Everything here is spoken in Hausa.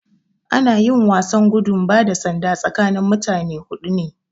Ana yin wasan gudun bada sanda tsakanin mutane hudu ne